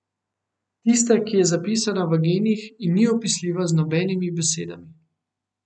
Tiste, ki je zapisana v genih in ni opisljiva z nobenimi besedami.